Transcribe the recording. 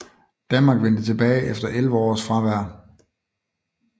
Danmark vendte tilbage efter 11 års fravær